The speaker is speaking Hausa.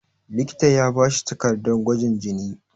likita ya bashi takardar gwajin jini